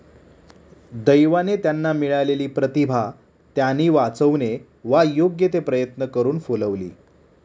दैवाने त्यांना मिळालेली प्रतिभा त्यानी वाचवणे वा योग्य ते प्रयत्न करून फुलवली.